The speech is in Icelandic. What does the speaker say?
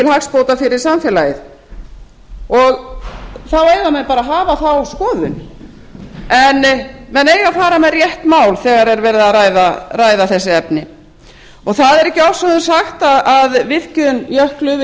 hagsbóta fyrir samfélagið þá eiga menn bara að hafa þá skoðun en menn eiga að fara með rétt mál þegar er verið að ræða þessi efni það er ekki ofsögum sagt að virkjun jöklu við